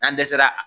N'an dɛsɛra